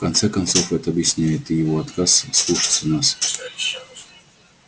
в конце концов это объясняет и его отказ слушаться нас